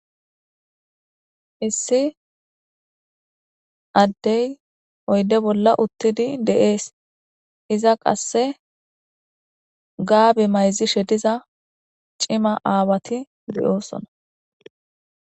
Issi ade oyide bolla utidi de'ees iza qase gabe mayizishe diza ci'ma awati de'osona